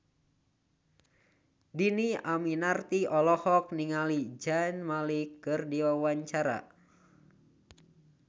Dhini Aminarti olohok ningali Zayn Malik keur diwawancara